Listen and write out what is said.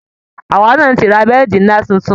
Àwa náa ti ra bẹ́ẹ̀di ńlá tuntun